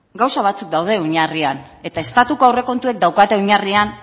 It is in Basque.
gauza batzuk daude oinarrian eta estatuko aurrekontuek daukate oinarrian